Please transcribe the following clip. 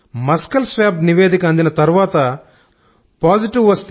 muscle swab నివేదిక అందిన తర్వాత పాజిటివ్